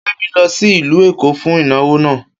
Kemi lọ sí ìlú Èkó fún ìnáwó náà